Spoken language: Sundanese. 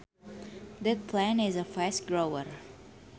That plant is a fast grower